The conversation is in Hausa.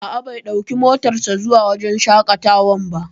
A'a, bai ɗauki motar sa zuwa wajen shaƙatawar ba